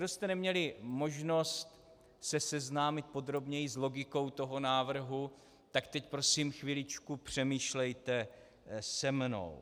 Kdo jste neměli možnost se seznámit podrobněji s logikou tohoto návrhu, tak teď prosím chviličku přemýšlejte se mnou.